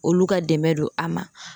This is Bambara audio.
Olu ka dɛmɛ don a ma